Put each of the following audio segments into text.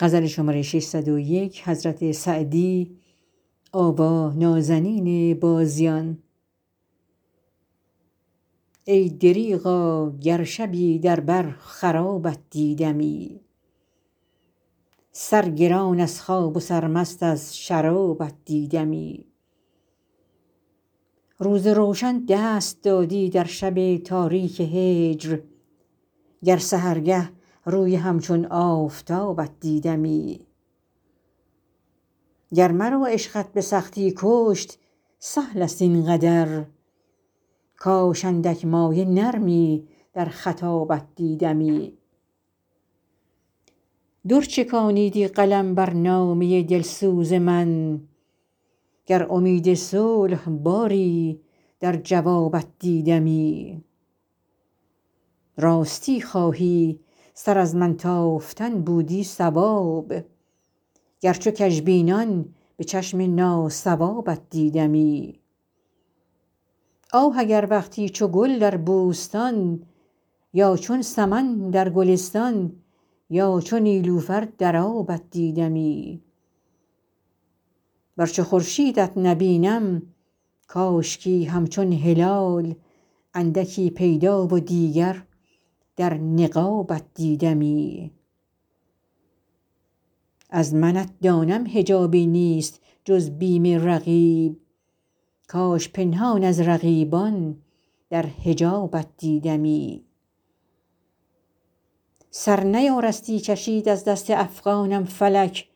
ای دریغا گر شبی در بر خرابت دیدمی سرگران از خواب و سرمست از شرابت دیدمی روز روشن دست دادی در شب تاریک هجر گر سحرگه روی همچون آفتابت دیدمی گر مرا عشقت به سختی کشت سهل است این قدر کاش کاندک مایه نرمی در خطابت دیدمی در چکانیدی قلم بر نامه دلسوز من گر امید صلح باری در جوابت دیدمی راستی خواهی سر از من تافتن بودی صواب گر چو کژبینان به چشم ناصوابت دیدمی آه اگر وقتی چو گل در بوستان یا چون سمن در گلستان یا چو نیلوفر در آبت دیدمی ور چو خورشیدت نبینم کاشکی همچون هلال اندکی پیدا و دیگر در نقابت دیدمی از منت دانم حجابی نیست جز بیم رقیب کاش پنهان از رقیبان در حجابت دیدمی سر نیارستی کشید از دست افغانم فلک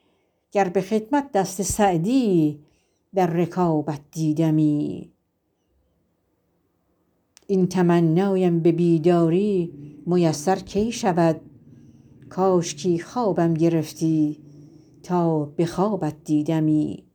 گر به خدمت دست سعدی در رکابت دیدمی این تمنایم به بیداری میسر کی شود کاشکی خوابم گرفتی تا به خوابت دیدمی